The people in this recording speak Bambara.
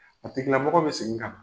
A tigila mɔgɔ bɛ segin ka na.